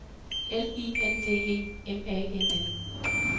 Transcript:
L I N D E M A N N